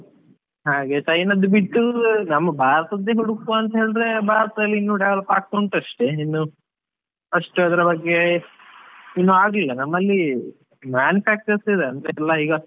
ಹಾಗೆ China ದ್ದು ಬಿಟ್ಟು, ನಮ್ಮ ಭಾರತದ್ದೇ ಹುಡುಕುವ ಅಂತ ಹೇಳಿದ್ರೆ ಭಾರತದಲ್ಲಿ ಇನ್ನು develop ಆಗ್ತಾ ಉಂಟಷ್ಟೆ, ಇನ್ನು ಅಷ್ಟ್ ಅದ್ರ ಬಗ್ಗೆ ಇನ್ನು ಆಗ್ಲಿಲ್ಲ ನಮ್ಮಲ್ಲಿ manufactures ಇದ್ .